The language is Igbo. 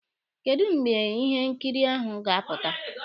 Kedụ mgbe ihe nkiri ahụ ga-apụta?